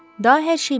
Daha hər şey bitdi.